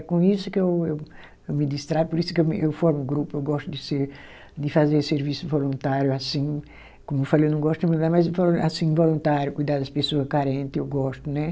É com isso que eu eu eu me distraio, por isso que eu me eu formo grupo, eu gosto de se, de fazer serviço voluntário, assim, como eu falei, eu não gosto de, mas assim, voluntário, cuidar das pessoas carentes, eu gosto, né?